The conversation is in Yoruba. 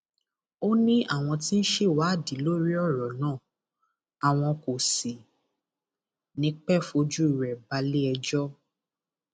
ó ní àwọn tí ń ṣèwádìí lórí ọrọ náà àwọn kò sì ní í pẹẹ fojú rẹ balẹẹjọ